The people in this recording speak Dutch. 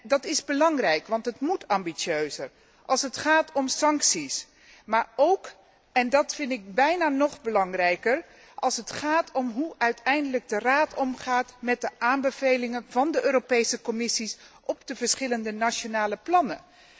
Dat is belangrijk, want het moet ambitieuzer als het gaat om sancties, maar ook en dat vind ik bijna nog belangrijker als het gaat om hoe de Raad uiteindelijk omgaat met de aanbevelingen van de Europese Commissie op de verschillende nationale plannen.